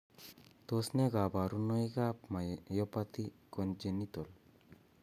Tos ne kaborunoikab myopathy congenital?